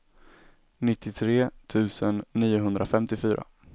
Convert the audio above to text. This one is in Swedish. nittiotre tusen niohundrafemtiofyra